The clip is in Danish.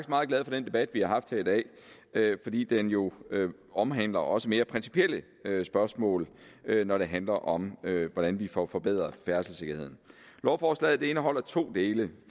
meget glad for den debat vi har haft her i dag fordi den jo omhandler også mere principielle spørgsmål når det handler om hvordan vi får forbedret færdselssikkerheden lovforslaget indeholder to dele